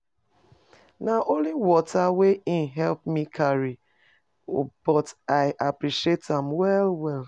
Na only water wey him helep me carry o but I appreciate am well well.